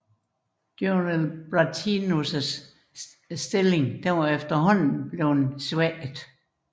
Jonel Bratianus stilling var efterhånden bleven svækket